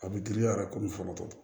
A bɛ giriya fɔlɔ